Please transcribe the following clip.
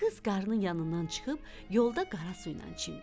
Qız qarnının yanından çıxıb yolda qara su ilə çimdi.